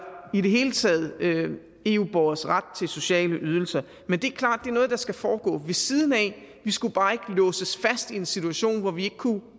i det hele taget eu borgeres ret til sociale ydelser men det er klart er noget der skal foregå ved siden af vi skulle bare ikke låses fast i en situation hvor vi ikke kunne